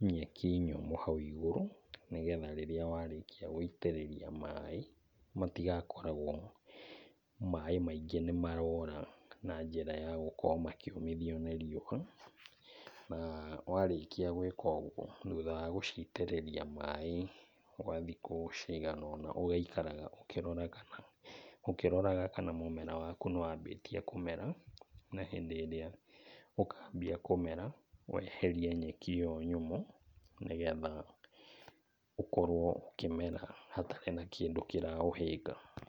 nyeki nyũmũ hau igũrũ, nĩgetha rĩrĩa warĩkia gũitĩrĩria maĩ matigakoragwo maĩ maingĩ nĩmarora na njĩra ya gũkorwo makĩũmithio nĩ riũa. Na, warĩkia gwĩka ũguo, thutha wa gũciitĩrĩria maĩ gwa thikũ cigana ũna ũgaikaraga ũkĩroraga kana ũkĩroraga kana mũmera waku nĩwambĩtie kũmera, na hĩndĩ ĩrĩa ũkambia kũmera, weherie nyeki ĩyo nyũmũ nĩgetha ũkorwo ũkĩmera hatarĩ na kĩndũ kĩraũhĩnga.